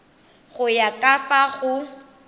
go ya ka fa go